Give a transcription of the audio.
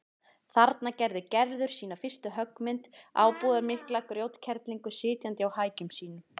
Þarna gerði Gerður sína fyrstu höggmynd, ábúðarmikla grjótkerlingu sitjandi á hækjum sínum.